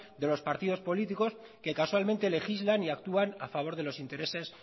de los partidos políticos que casualmente legislan y actúan a favor de los intereses